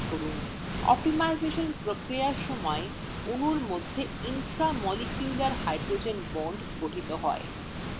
optimisation প্রক্রিয়ার সময় অণুর মধ্যে intra molecular hydrogen bond গঠিত হয়